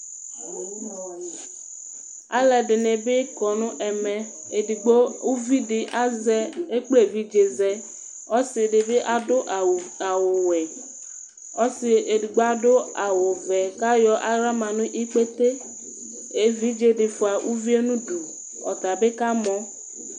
Alʋɛdini bi kɔnʋ ɛmɛ, edigbo ʋvidi epkle evidzezɛ, ɔdibi adʋ awʋwɛ, ɔsi edigbo adʋ awʋvɛ kʋ ayɔ aɣla manʋ ikpete evidzedi fua ʋvie nʋ ʋdʋ ɔtabi kamɔ